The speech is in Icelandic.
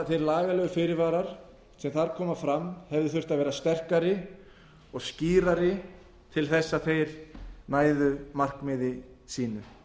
hinir lagalegu fyrirvarar sem þar komu fram hefðu þurft að vera sterkari og skýrari til þess að þeir næðu markmiði sínu